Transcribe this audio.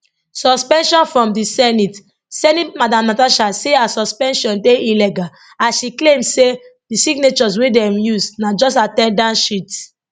suspension from di senate senate madam natasha say her suspension dey illegal as she claim say di signatures wey dem use na just at ten dance sheet